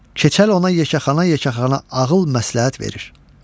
Keçəl ona yekəxana-yekəxana ağıl məsləhət verir.